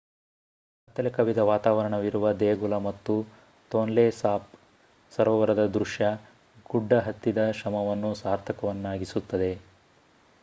ಕತ್ತಲೆ ಕವಿದ ವಾತಾವರಣವಿರುವ ದೇಗುಲ ಮತ್ತು ತೊನ್ಲೆ ಸಾಪ್ ಸರೋವರದ ದೃಶ್ಯ ಗುಡ್ಡ ಹತ್ತಿದ ಶ್ರಮವನ್ನು ಸಾರ್ಥಕವನ್ನಾಗಿಸುತ್ತದೆ